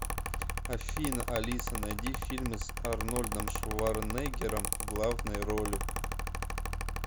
афина алиса найди фильмы с арнольдом шварнеггером в главной роли